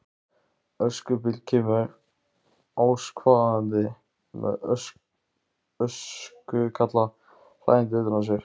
Öskubíll kemur askvaðandi með öskukalla hlæjandi utan á sér.